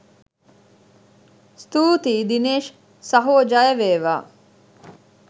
ස්තුතියි දිනේෂ් සහෝ ජය වේවා!